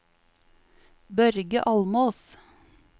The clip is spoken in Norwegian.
Børge Almås